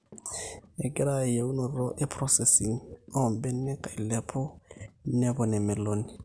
egirra eyieunoto e processing oombenek ailepu nepon emeloni